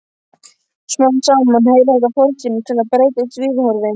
Smám saman heyrir þetta fortíðinni til og þá breytast viðhorfin.